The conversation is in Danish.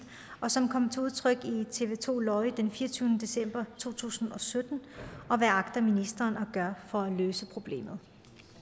og som kom til udtryk i tv to den fireogtyvende december to tusind og sytten og hvad agter ministeren at gøre for at løse problemet